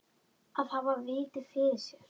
Að hafa vit fyrir þér?